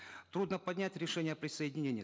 трудно понять решение о присоединении